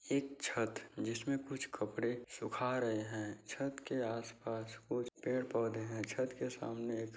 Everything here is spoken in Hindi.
एक छत जिसमें कुछ कपड़े सुखा रहे हैं। छत के आसपास कुछ पेड़-पौधे हैं। छत के सामने एक--